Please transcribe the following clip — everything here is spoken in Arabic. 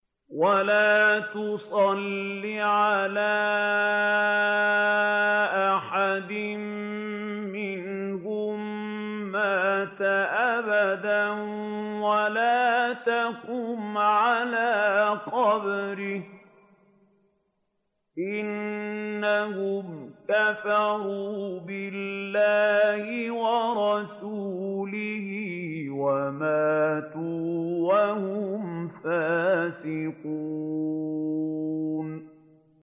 وَلَا تُصَلِّ عَلَىٰ أَحَدٍ مِّنْهُم مَّاتَ أَبَدًا وَلَا تَقُمْ عَلَىٰ قَبْرِهِ ۖ إِنَّهُمْ كَفَرُوا بِاللَّهِ وَرَسُولِهِ وَمَاتُوا وَهُمْ فَاسِقُونَ